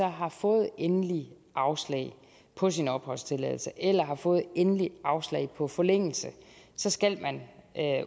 har fået endeligt afslag på sin opholdstilladelse eller har fået endeligt afslag på forlængelse så skal man